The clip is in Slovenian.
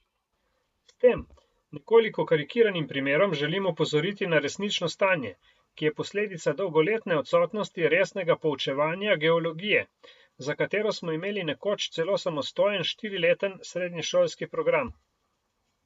S tem, nekoliko karikiranim primerom želim opozoriti na resnično stanje, ki je posledica dolgoletne odsotnosti resnega poučevanja geologije, za katero smo imeli nekoč celo samostojen štirileten srednješolski program.